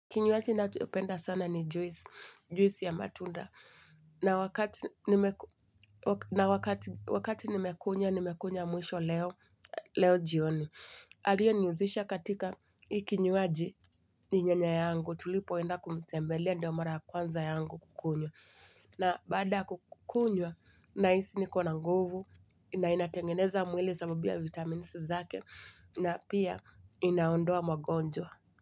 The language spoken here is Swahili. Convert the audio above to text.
Kinyuaji nacho penda sana ni juisi ya matunda. Na wakati Na wakati nimekunya, nimekunya mwisho leo, leo jioni. Aliyo niuzisha katika hii kinyuaji ni nyanya yangu. Tulipoenda kumtembelea ndio mara ya kwanza yangu kukunywa. Na baada kunywa, nahisi niko na nguvu, inainatengeneza mwili sababu ya vitamini zake, na pia inaondoa magonjwa.